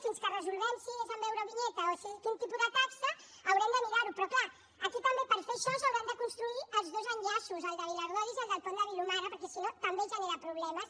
fins que resolguem si és amb eurovinyeta o amb quin tipus de taxa haurem de mirar ho però clar aquí també per fer això s’hauran de construir els dos enllaços el de viladordis i el del pont de vilomara perquè si no també genera problemes